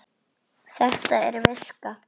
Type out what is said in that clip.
Þetta er viska!